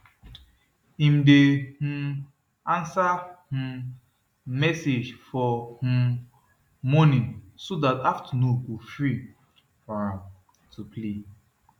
him dey um answer um message for um morning so dat afternoon go free for am to play